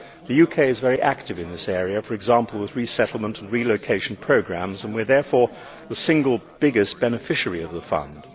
The UK is very active in this area, for example with resettlement and relocation programmes, and we are therefore the single biggest beneficiary of the fund.